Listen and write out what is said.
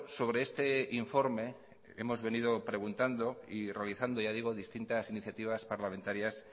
sobre este informe hemos venido preguntando y realizando ya digo distintas iniciativas parlamentarias